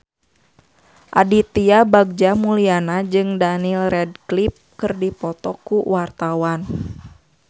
Aditya Bagja Mulyana jeung Daniel Radcliffe keur dipoto ku wartawan